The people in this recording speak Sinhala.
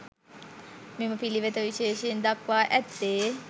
මෙම පිළිවෙත විශේෂයෙන් දක්වා ඇත්තේ